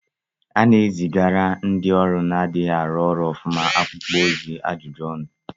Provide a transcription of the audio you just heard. A na-ezigara ndị ọrụ na-adịghị arụ ọrụ ọfụma akwụkwọ ozi ajụjụ ọnụ